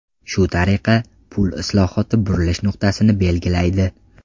Shu tariqa, pul islohoti burilish nuqtasini belgilaydi.